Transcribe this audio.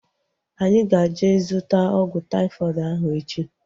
Anyị ga-eje zụta ọgwụ taifọdụ ahu echi